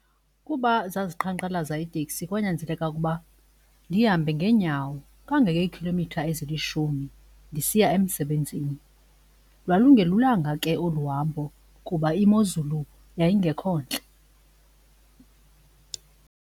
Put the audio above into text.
Kuba zaziqhankqalaza iiteksi, kwanyanzeleka ukuba ndihambe ngeenyawo kangekhilomitha ezilishumi ndisiya emsebenzini. Lwalungelulanga ke olu hambo kuba imozulu yayingekho ntle.